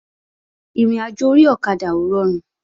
Ìrìnàjò orí ọ̀kadà ò rọrùn